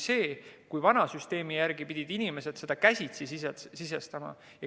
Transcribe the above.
Vana süsteemi järgi pidid inimesed neid käsitsi sisestama.